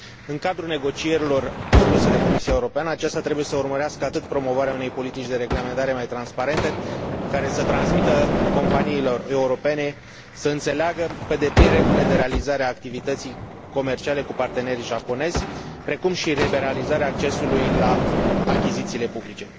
În cadrul negocierilor conduse de Comisia Europeană, aceasta trebuie să urmărească atât promovarea unei politici de reglementare mai transparente, care să transmită companiilor europene să înțeleagă pe deplin regulile de realizare a activității comerciale cu parteneri japonezi, precum și liberalizarea accesului la achizițiile publice.